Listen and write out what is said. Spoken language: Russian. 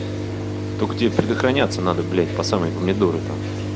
только тебе предохраняться надо блять по самые помидоры там